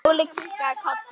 Óli kinkaði kolli.